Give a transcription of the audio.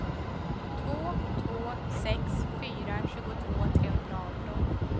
två två sex fyra tjugotvå trehundraarton